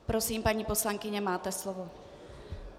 Prosím, paní poslankyně, máte slovo.